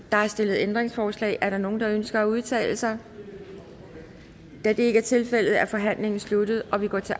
der er stillet ændringsforslag er der nogen der ønsker at udtale sig da det ikke er tilfældet er forhandlingen sluttet og vi går til